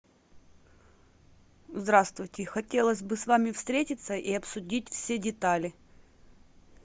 здравствуйте хотелось бы с вами встретиться и обсудить все детали